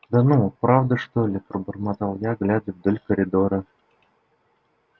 да ну правда что ли пробормотал я глядя вдоль коридора